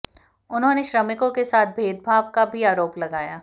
उन्होंने श्रमिकों के साथ भेदभाव का भी आरोप लगाया